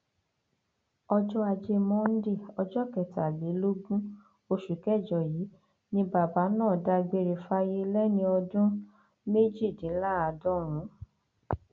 ọjọ ajé monde ọjọ kẹtàlélógún oṣù kẹjọ yìí ni bàbá náà dágbére fáyé lẹni ọdún lẹni ọdún méjìdínláàádọrùnún